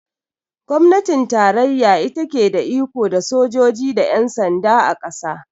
Gwamnatin tarayya ita ke da iko da sojoji da yan sanda, a ƙasa